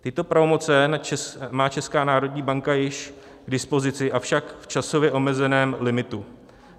Tyto pravomoce má Česká národní banka již k dispozici, avšak v časově omezeném limitu.